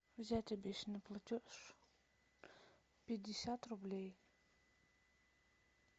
взять обещанный платеж пятьдесят рублей